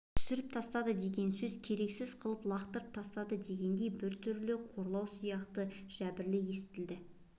түсіріп тастады деген сөз керексіз қылып лақтырып тастады дегендей біртүрлі қорлау сияқты жәбіріл естілді